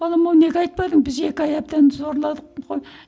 балам ау неге айтпадың біз екі ай әбден сорладық қой